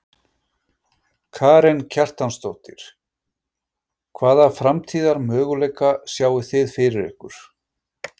Karen Kjartansdóttir: Hvaða framtíðarmöguleika sjáið þið fyrir ykkur?